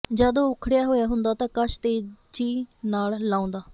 ਜਦ ਉਹ ਉਖੜਿਆ ਹੋਇਆ ਹੁੰਦਾ ਤਾਂ ਕਸ਼ ਤੇਜੀ ਨਾਲ ਲਾਉਂਦਾ